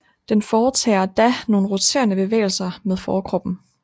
Den foretager da nogle roterende bevægelser med forkroppen